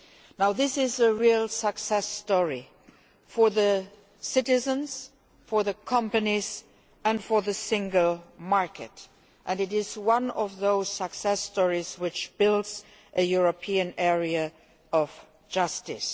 Now this is a real success story, for citizens, for companies and for the Single Market, and it is one of those success stories which builds a European area of justice.